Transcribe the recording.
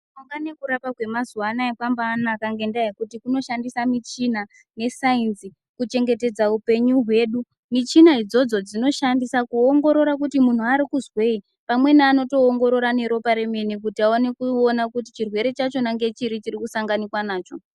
...nekurapa kwemazuva anaya kwambaanaka ngendaa yekuti kunoshandisa michina dzesainzi kuchengetedza upenyu hwedu. Michina idzodzo dzinoshandisa kuongorora kuti munhu arikuzwei. Pamweni anotoongorora neropa remene kuti aone kuona kuti chirwere chacho ngechiri chirikusanganikwa nacho.